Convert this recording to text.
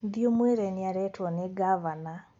Thiĩ ũmwĩre nĩarethwo nĩ ngavana